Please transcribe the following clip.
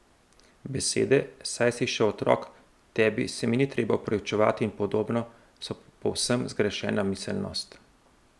Besede, saj si še otrok, tebi se mi ni treba opravičevati in podobno, so povsem zgrešena miselnost.